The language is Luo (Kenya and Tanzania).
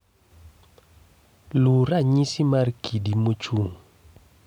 Luw ranyisi mar kidi mochung'